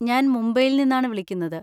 ഞാൻ മുംബൈയിൽ നിന്നാണ് വിളിക്കുന്നത്.